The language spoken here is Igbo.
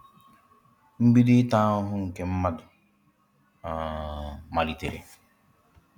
Mbido ịta ahụhụ nke mmadu um malitere.